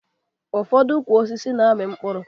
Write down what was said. Ụfọdụ ukwu osisi na-amị mkpụrụ